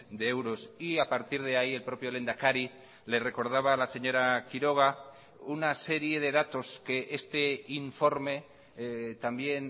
de euros y a partir de ahí el propio lehendakari le recordaba a la señora quiroga una serie de datos que este informe también